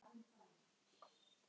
Og nú kemur þetta.